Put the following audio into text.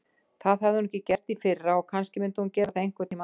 Það hafði hún gert í fyrra og kannski myndi hún gera það einhvern tíma aftur.